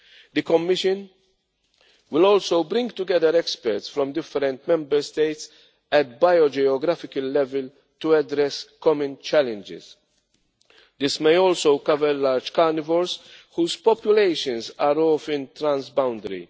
The Commission will also bring together experts from different Member States at bio geographical level to address common challenges. This may also cover large carnivores whose populations are often transboundary.